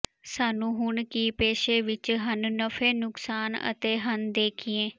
ਸਾਨੂੰ ਹੁਣ ਕੀ ਪੇਸ਼ੇ ਵਿੱਚ ਹਨ ਨਫ਼ੇ ਨੁਕਸਾਨ ਅਤੇ ਹਨ ਦੇਖੀਏ